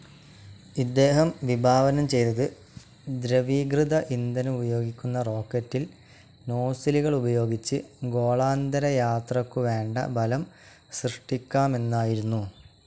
ഇദ്ദേഹം വിഭാവനം ചെയ്തത് ദ്രവീകൃത ഇന്ധനമുപയോഗിക്കുന്ന റോക്കറ്റിൽ നോസിലുകളുപയോഗിച്ച് ഗോളാന്തരയാത്രയ്ക്കു വേണ്ട ബലം സൃഷ്ടിക്കാമെന്നായിരുന്നു.